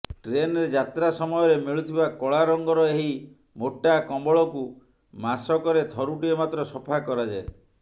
ଟ୍ରେନରେ ଯାତ୍ରା ସମୟରେ ମିଳୁଥିବା କଳା ରଙ୍ଗର ଏହି ମୋଟା କମ୍ବଳକୁ ମାସକରେ ଥରୁଟିଏ ମାତ୍ର ସଫା କରାଯାଏ